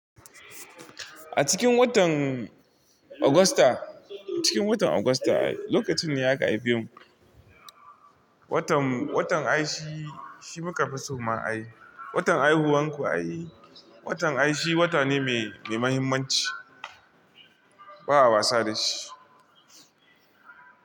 A cikin watan Augusta, cikin watan Augusta lokacin ne ya ga haife mu. Watan, watan ai shi shi muka fi so ma a yi. Watan haihuwan ku ai. Watan ai shi shi wata ne mai, mai muhimmanci. Ba a wasa da shi.